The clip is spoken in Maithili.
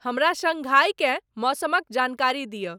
हमरा शंघाईकें मौसमक जानकारी दिय।